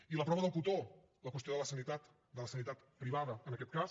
i la prova del cotó la qüestió de la sanitat de la sanitat privada en aquest cas